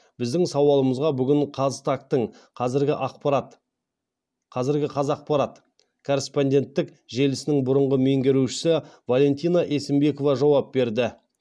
біздің сауалымызға бүгін қазтаг тың қазіргі қазақпарат корреспонденттік желісінің бұрынғы меңгерушісі валентина есімбекова жауап берді